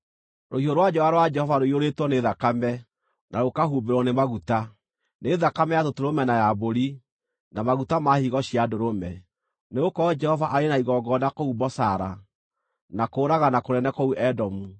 Rũhiũ rwa njora rwa Jehova rũiyũrĩtwo nĩ thakame, na rũkahumbĩrwo nĩ maguta: nĩ thakame ya tũtũrũme na ya mbũri, na maguta ma higo cia ndũrũme. Nĩgũkorwo Jehova arĩ na igongona kũu Bozara, na kũũragana kũnene kũu Edomu.